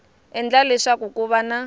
endla leswaku ku va na